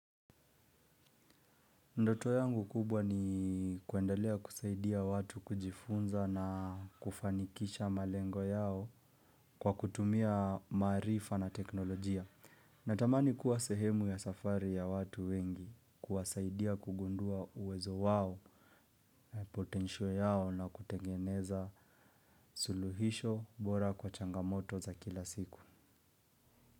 Ndoto yangu kubwa ni kuendalea kusaidia watu kujifunza na kufanikisha malengo yao kwa kutumia maarifa na teknolojia. Natamani kuwa sehemu ya safari ya watu wengi kuwasaidia kugundua uwezo wao na potensio yao na kutengeneza suluhisho bora kwa changamoto za kila siku.